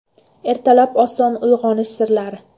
Ertalab oson uyg‘onish sirlari.